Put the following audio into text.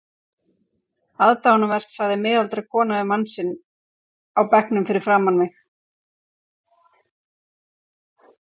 Aðdáunarvert sagði miðaldra kona við mann sinn á bekknum fyrir framan mig.